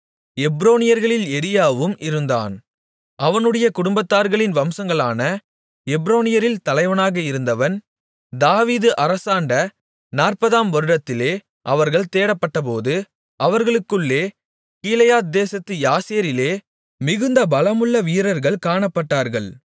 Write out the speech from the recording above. எப்ரோனியர்களில் எரியாவும் இருந்தான் அவனுடைய குடும்பத்தார்களின் வம்சங்களான எப்ரோனியரில் தலைவனாக இருந்தவன் தாவீது அரசாண்ட நாற்பதாம் வருடத்திலே அவர்கள் தேடப்பட்டபோது அவர்களுக்குள்ளே கீலேயாத்தேசத்து யாசேரிலே மிகுந்த பலமுள்ள வீரர்கள் காணப்பட்டார்கள்